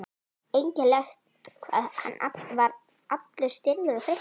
Einkennilegt hvað hann var allur stirður og þreyttur.